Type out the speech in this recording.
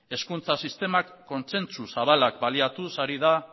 ezkontza sistemak kontsentsu zabalak baliatuz ari da